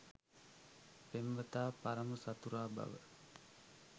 පෙම්වතා පරම සතුරා බව